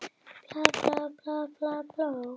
Orð máttu sín hér einskis.